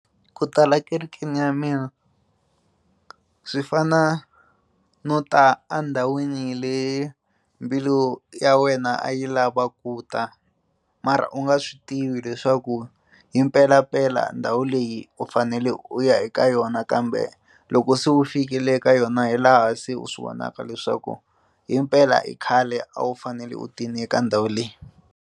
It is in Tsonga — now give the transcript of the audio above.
Ku ta la kerekeni ya mina swi fana no ta a ndhawini leyi mbilu ya wena a yi lava ku ta mara u nga swi tivi leswaku hi mpelampela ndhawu leyi u fanele u ya eka yona kambe loko se wu fikile eka yona hi laha se u swi vonaka leswaku himpela i khale a wu fanele u tini eka ndhawu leyi.